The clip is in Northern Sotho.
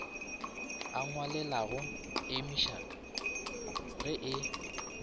a ngwalelago emia ge e